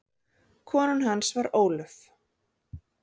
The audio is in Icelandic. Kona hans var Ólöf